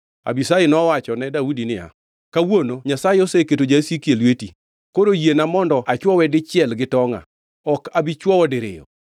Abishai nowachone Daudi niya, “Kawuono Nyasaye oseketo jasiki e lweti. Koro yiena mondo achwowe dichiel gi tonga; ok abi chwowe diriyo.”